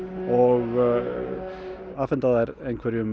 og afhenda þær einhverjum